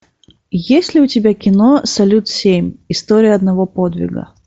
есть ли у тебя кино салют семь история одного подвига